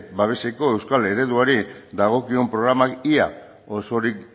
babeseko euskal ereduari dagokion programak ia osorik